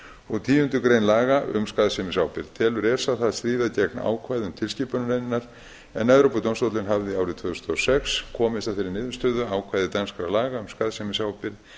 og tíundu grein laga um skaðsemisábyrgð telur esa það stríða gegn ákvæðum tilskipunarinnar en evrópudómstóllinn hafði árið tvö þúsund og sex komist að þeirri niðurstöðu að ákvæði danskra laga um skaðsemisábyrgð